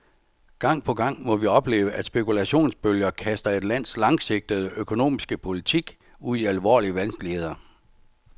Gang på gang må vi opleve, at spekulationsbølger kaster et lands langsigtede økonomiske politik ud i alvorlige vanskeligheder.